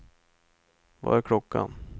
Vad är klockan